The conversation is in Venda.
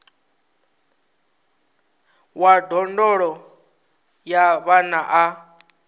wa ndondolo ya vhana a